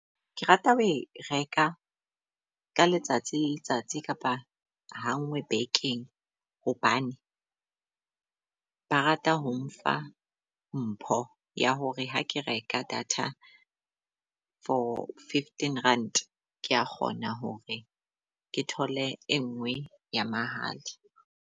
Ke rata ho e reka ka letsatsi le letsatsi kapa ha ngwe bekeng hobane ba rata ho mfa mpho ya hore ha ke reka data for fifteen rand, kea kgona hore ke thole e ngwe ya mahala.